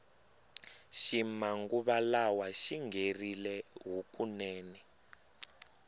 xi manguva lawa xingherile hukunene